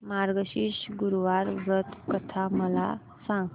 मार्गशीर्ष गुरुवार व्रत कथा मला सांग